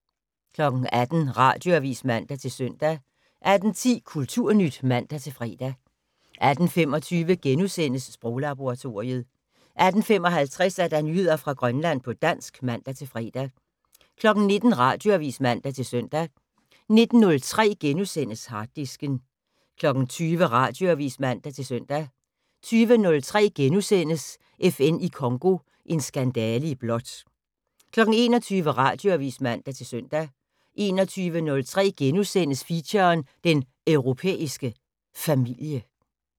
18:00: Radioavis (man-søn) 18:10: Kulturnyt (man-fre) 18:25: Sproglaboratoriet * 18:55: Nyheder fra Grønland på dansk (man-fre) 19:00: Radioavis (man-søn) 19:03: Harddisken * 20:00: Radioavis (man-søn) 20:03: FN i Congo - en skandale i blåt * 21:00: Radioavis (man-søn) 21:03: Feature: Den Europæiske Familie *